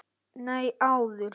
Nei, áður.